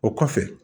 O kɔfɛ